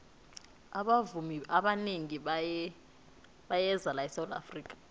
abavumi abanengi bayeza la esawula afrika